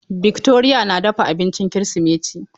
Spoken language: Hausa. Victoria na dafa abincin Kirsimeti.